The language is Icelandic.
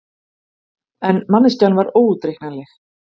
En manneskjan var óútreiknanleg.